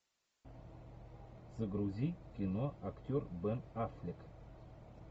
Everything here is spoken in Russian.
загрузи кино актер бен аффлек